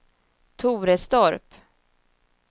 Torestorp